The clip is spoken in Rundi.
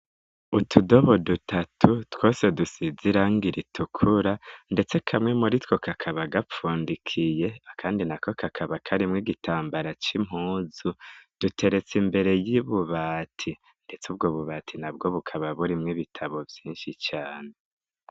Utudobo dutatu twose dusize irangi ritukura ndetse kamwe muri two kakaba gapfundikiye akandi na ko kakaba karimwo igitambara c'impuzu duteretse imbere y'ububati ndetse ubwo bubati nabwo bukaba burimwo ibitabo vyinshi cane.